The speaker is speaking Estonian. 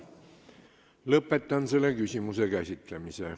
Lõpetan selle küsimuse käsitlemise.